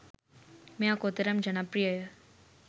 මෙය කොතනම් ජනප්‍රියය